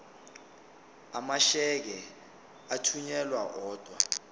amasheke athunyelwa odwa